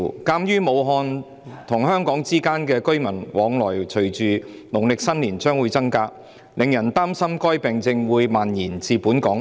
鑒於武漢和香港之間的居民往來會隨着農曆新年將至而增加，令人擔心該病症會蔓延至本港。